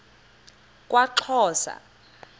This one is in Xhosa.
kwaxhosa